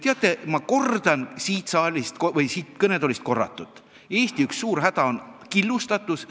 Teate, ma kordan siin saalis või siin kõnetoolis juba öeldut: Eesti suur häda on killustatus.